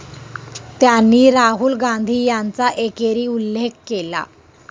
त्यांनी राहुल गांधी यांचा एकेरी उल्लेख केला.